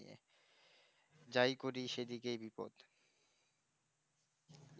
যাই করি সেই দিকেই বিপদ